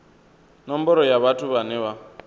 nomboro ya vhathu vhane vha